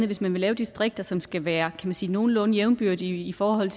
hvis man vil lave distrikter som skal være man sige nogenlunde jævnbyrdige i forhold